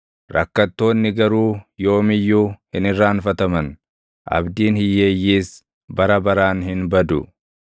Rakkattoonni garuu yoom iyyuu hin irraanfataman; abdiin hiyyeeyyiis bara baraan hin badu.